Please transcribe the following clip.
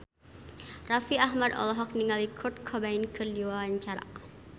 Raffi Ahmad olohok ningali Kurt Cobain keur diwawancara